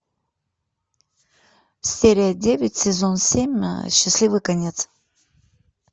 серия девять сезон семь счастливый конец